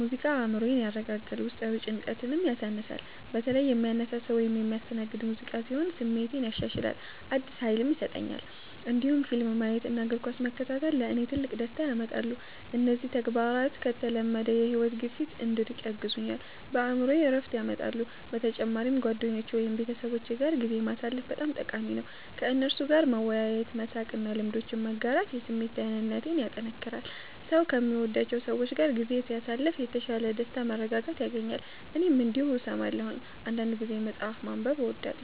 ሙዚቃ አእምሮዬን ያረጋጋል፣ ውስጣዊ ጭንቀትንም ያሳንሳል። በተለይ የሚያነሳሳ ወይም የሚያስተናግድ ሙዚቃ ሲሆን ስሜቴን ያሻሽላል፣ አዲስ ኃይልም ይሰጠኛል። እንዲሁም ፊልም ማየት እና እግር ኳስ መከታተል ለእኔ ትልቅ ደስታ ያመጣሉ። እነዚህ ተግባራት ከተለመደው የሕይወት ግፊት እንድርቅ ያግዙኛል፣ በአእምሮዬም ዕረፍት ያመጣሉ። በተጨማሪም ጓደኞቼ ወይም ቤተሰቦቼ ጋር ጊዜ ማሳለፍ በጣም ጠቃሚ ነው። ከእነርሱ ጋር መወያየት፣ መሳቅ እና ልምዶችን መጋራት የስሜት ደህንነቴን ያጠናክራል። ሰው ከሚወዳቸው ሰዎች ጋር ጊዜ ሲያሳልፍ የተሻለ ደስታና መረጋጋት ያገኛል። እኔም እንዲሁ እሰማለሁ። አንዳንድ ጊዜ መጽሐፍ ማንበብ እወዳለሁ